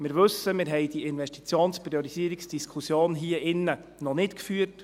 Wir wissen, wir haben die Investitionspriorisierungsdiskussion hier drin noch nicht geführt.